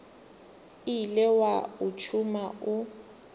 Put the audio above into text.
ile wa o tšhuma o